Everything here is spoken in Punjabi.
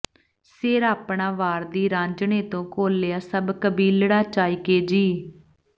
ਸਿਰ ਆਪਣਾ ਵਾਰਦੀ ਰਾਂਝਣੇ ਤੋਂ ਘੋਲਿਆ ਸਭ ਕਬੀਲੜਾ ਚਾਇਕੇ ਜੀ